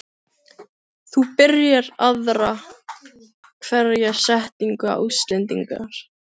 þú byrjar aðra hverja setningu á Íslendingar.